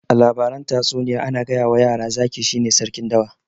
A labaran tatsuniya ana gayawa yara zaki shine sarkin dawa